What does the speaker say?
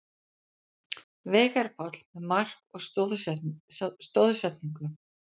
Veigar Páll með mark og stoðsendingu